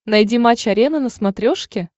найди матч арена на смотрешке